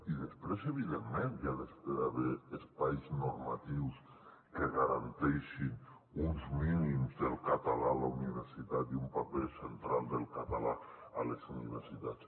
i després evidentment hi ha d’haver espais normatius que garanteixin uns mínims del català a la universitat i un paper central del català a les universitats